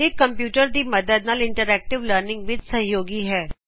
ਇਹ ਕੰਪਯੂਟਰ ਦੀ ਮਦਦ ਨਾਲ ਇੰਟਰੈਕਟਿਵ ਲਰਨਿੰਗ ਵਿੱਚ ਸਹਯੋਗੀ ਹੈ